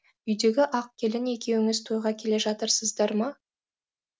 үйдегі ақ келін екеуіңіз тойға келе жатырсыздар ма